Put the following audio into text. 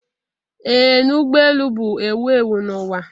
Ee na ụgbọ elu bụ ewu ewu n'ụwa.